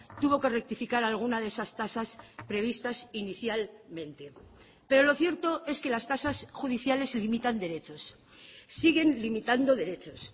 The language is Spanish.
tuvo que rectificar alguna de esas tasas previstas inicialmente pero lo cierto es que las tasas judiciales limitan derechos siguen limitando derechos